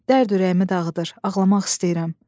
Dərd ürəyimi dağıdır, ağlamaq istəyirəm.